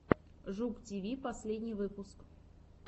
жук тиви последний выпуск